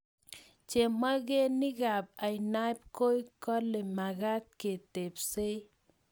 Chemogenikab ainabkoi kale makat ketebsei